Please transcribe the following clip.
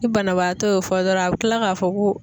i banabaatɔ y'o fɔ dɔrɔn a bi kila k'a fɔ ko